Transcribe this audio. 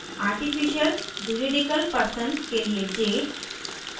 artificial juridicial person के लिए j और